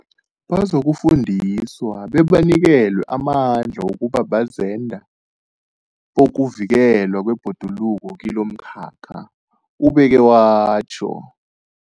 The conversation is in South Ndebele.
Bazokufundiswa bebanikelwe amandla wokuba bazenda bokuvikelwa kwebhoduluko kilomkhakha, ubeke watjho.